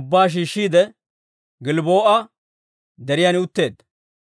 ubbaa shiishshiide, Gilbboo'a Deriyan utteedda.